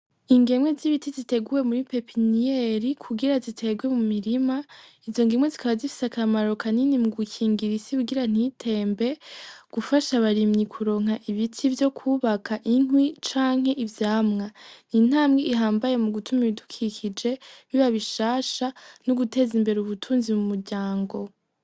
Ingemwe z'ibiti ziteguwe muri pepiniyeri kugira ziterwe mu mirima izo ngemwe zikaba zifise akamaro kanini mu gukingira isi kugira ntitembe gufasha abarimyi kuronka ibiti vyo kubaka inkwi canke ivyamwa intambwe ihambaye mu gutuma ibidukikije biba bishasha no guteza imbere ubutunzi mu muryango.